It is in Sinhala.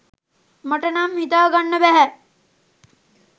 මටනම් හිතා ගන්න බැහැ